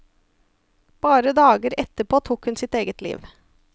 Bare dager etterpå tok hun sitt eget liv.